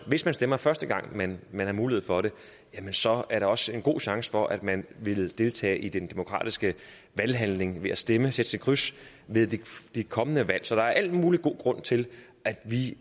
hvis man stemmer første gang man har mulighed for det så er der også en god chance for at man vil deltage i den demokratiske valghandling ved at stemme sætte sit kryds ved de kommende valg så der er al mulig god grund til at vi